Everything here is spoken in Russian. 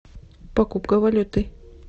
покупка валюты